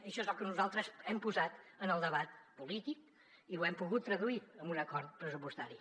això és el que nosaltres hem posat en el debat polític i ho hem pogut traduir en un acord pressupostari